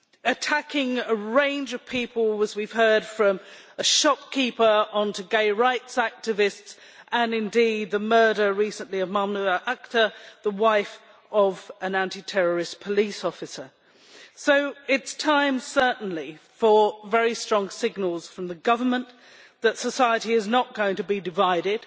attacking a range of people, as we have heard from a shopkeeper to gay rights activists, and indeed the murder recently of Mahmuda Akter, the wife of an anti terrorist police officer. It is certainly time for very strong signals from the government that society is not going to be divided.